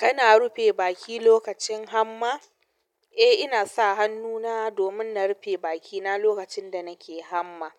Kana rufe baki lokacin hamma? Eh inasa hannu na domin na rufe bakina lokaci da nake hamma.